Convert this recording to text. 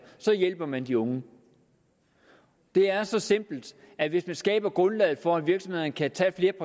hjælper man de unge det er så simpelt at hvis man skaber grundlaget for at virksomhederne kan tage